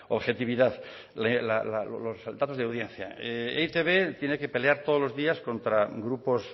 objetividad los datos de audiencia e i te be tiene que pelear todos los días contra grupos